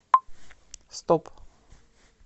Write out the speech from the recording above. стоп